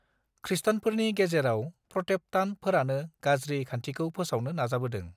खृष्टानफोरनि गेजेराव प्रटेप्टान्ट फोरानो गाज्रि खान्थिखौ फोसावनो नाजाबोदों